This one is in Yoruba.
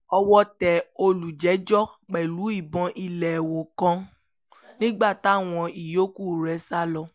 owó tẹ olùjẹ́jọ́ pẹ̀lú ìbọn ìléwọ́ kan nígbà táwọn ìyòókù rẹ̀ sá lọ